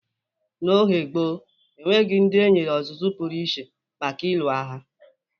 N'oge gboo, o nweghi ndị e nyere ozụzụ pụrụ iche maka ịlụ agha.